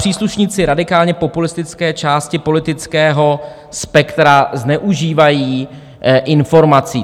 Příslušníci radikálně populistické části politického spektra zneužívají informací.